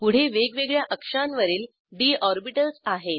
पुढे वेगवेगळ्या अक्षांवरील डी ऑर्बिटल्स आहेत